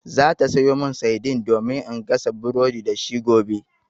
Za ta sayo mani saidin domin in gasa burodi da shi gobe.